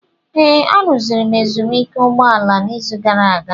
Ee, arụziri m ezumike ụgbọ ala a n'izu gara aga.